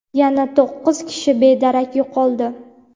yana to‘qqiz kishi bedarak yo‘qoldi.